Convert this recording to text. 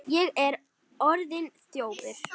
Ég er orðinn þjófur.